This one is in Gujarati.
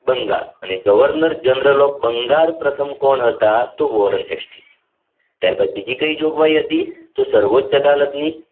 બંગાળ governor general of બંગાળ પ્રથમ કોણ હતા વોરન હૉસ્ટિ ત્યારબાદ બીજી કી જોગવાઈ હતી તો સર્વોચ્ચ અદાલત ની